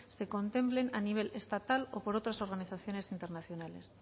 se contemplen a nivel estatal o por otras organizaciones internacionales